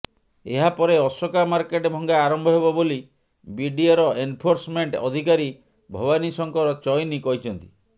ଏହାପରେ ଅଶୋକା ମାର୍କେଟ୍ ଭଙ୍ଗା ଆରମ୍ଭ ହେବ ବୋଲି ବିଡିଏର ଏନଫୋର୍ସମେଣ୍ଟ ଅଧିକାରୀ ଭବାନୀ ଶଙ୍କର ଚଇନି କହିଛନ୍ତି